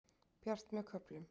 Bjart með köflum